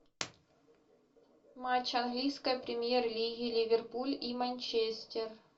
матч английской премьер лиги ливерпуль и манчестер